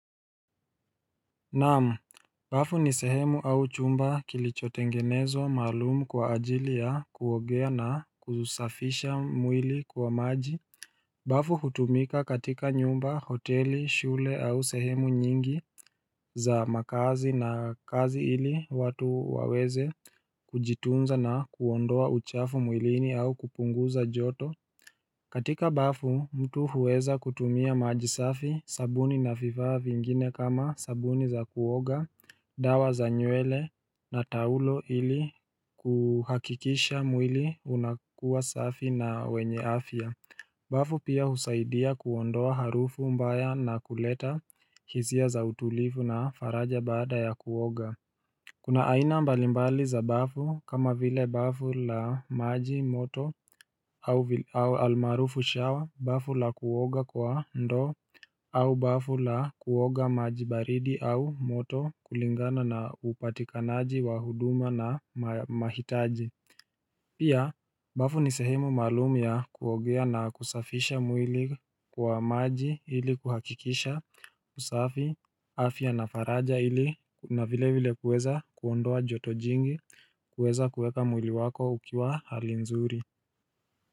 Naam, bafu ni sehemu au chumba kilichotengenezwa maalumu kwa ajili ya kuogea na kuusafisha mwili kwa maji bafu hutumika katika nyumba, hoteli, shule au sehemu nyingi za makazi na kazi ili watu waweze kujitunza na kuondoa uchafu mwilini au kupunguza joto. Katika bafu mtu huweza kutumia maji safi, sabuni na vifaa vingine kama sabuni za kuoga dawa za nywele na taulo ili kuhakikisha mwili unakuwa safi na wenye afya. Bafu pia husaidia kuondoa harufu mbaya na kuleta hisia za utulivu na faraja baada ya kuoga. Kuna aina mbalimbali za bafu kama vile bafu la maji moto au almarufu shower, bafu la kuoga kwa ndoo au bafu la kuoga maji baridi au moto kulingana na upatikanaji wa huduma na mahitaji. Pia bafu ni sehemu maalum ya kuogea na kusafisha mwili kwa maji ili kuhakikisha usafi, afya na faraja ili na vilevile kuweza kuondoa joto jingi kuweza kuweka mwili wako ukiwa hali nzuri.